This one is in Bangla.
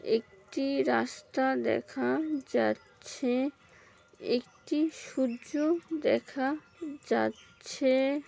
একটি রাস্তা দেখা যাচ্ছে একটি সূর্য দেখা যাচ্ছে।